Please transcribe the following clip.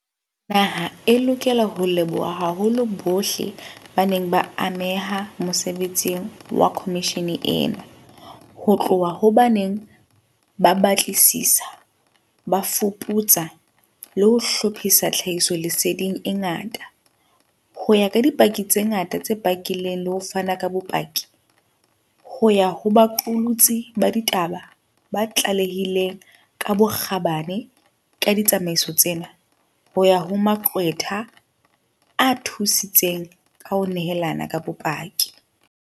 Naha e lokela ho leboha haholo bohle ba neng ba ameha mosebetsing wa khomishene ena, ho tloha ho ba neng ba batlisisa, ba fuputsa le ho hlophisa tlha hisoleseding e ngata, ho ya ho dipaki tse ngata tse pakileng le ho fana ka bopaki, ho ya ho baqolotsi ba ditaba ba tlalehileng ka bokgabane ka ditsamaiso tsena, ho ya ho maqwetha a thusitseng ka ho nehelana ka bopaki.